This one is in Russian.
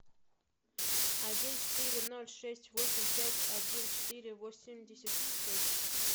один четыре ноль шесть восемь пять один четыре восемьдесят шесть